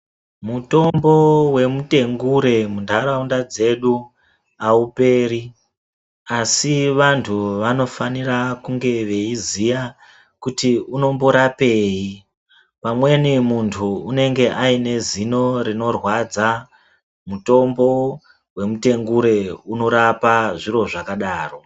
Mutombo wemutengure mundaraunda dzedu awuperi ,asi vantu vanofanira kunge veyiziya kuti unomborapeyi. Pamweni muntu unenge anezino rinorwadza, mutombo wemutengure unorapa zviro zvakadaro.